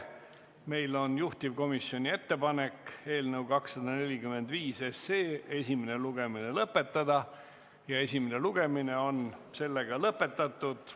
Meil on juhtivkomisjoni ettepanek eelnõu 245 esimene lugemine lõpetada ja esimene lugemine on sellega lõpetatud.